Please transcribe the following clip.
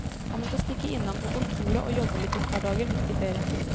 Han måtte stikke innom kontoret og jobbe litt et par dager midt i ferien.